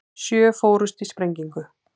Sjö fórust í sprengingu